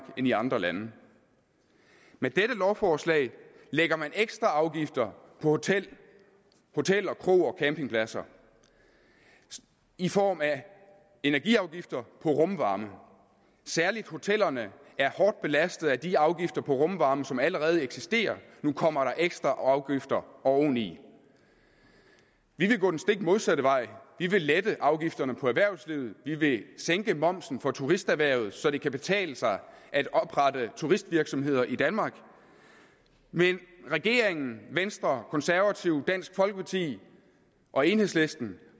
end i andre lande med dette lovforslag lægger man ekstra afgifter på hoteller kroer og campingpladser i form af energiafgifter på rumvarme særlig hotellerne er hårdt belastet af de afgifter på rumvarme som allerede eksisterer nu kommer der ekstra afgifter oveni vi vil gå den stik modsatte vej vi vil lette afgifterne på erhvervslivet vi vil sænke momsen på turisterhvervet så det kan betale sig at oprette turistvirksomheder i danmark men regeringen venstre konservative dansk folkeparti og enhedslisten